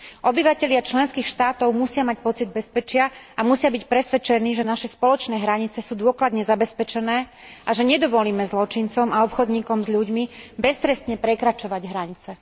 Obyvatelia členských štátov musia mať pocit bezpečia a musia byť presvedčení, že naše spoločné hranice sú dôkladne zabezpečené, a že nedovolíme zločincom a obchodníkom s ľuďmi beztrestne prekračovať hranice.